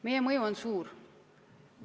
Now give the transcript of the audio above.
Meie mõju on suur.